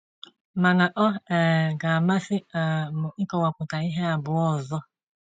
Mana ọ um ga-amasị um m ịkọwapụta ihe abụọ ọzọ.